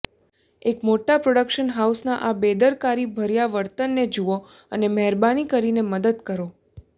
એક મોટા પ્રોડક્શન હાઉસના આ બેદરકારીભર્યા વર્તનને જુઓ અને મહેરબાની કરીને મદદ કરો